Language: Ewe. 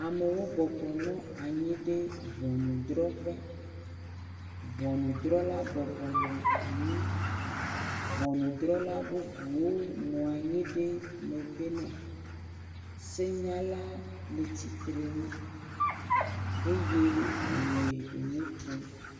Amewo bɔbɔ nɔ anyi ɖe ʋɔnudrɔƒe. Ʋunudrɔla bɔbɔ nɔ anyi. Ʋɔnudrɔla bubuwo le megbe ne. Senyala le tsitre nu eye wole nu ƒom.